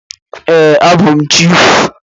Ee, abụ m chiịfụ.